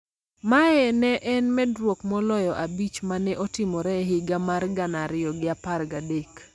Mae ne en medruok moloyo abich ma ne otimore e higa mar gana ariyo gi apar gadek.